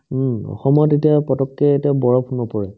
উম্, অসমত এতিয়া পতককে এতিয়া বৰফ নপৰে